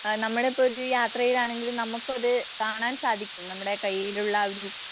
അഹ് നമ്മളെപ്പോഴും യാത്രചെയാണെങ്കിൽ നമുക്ക്‌അത് കാണാൻ സാധിക്കും.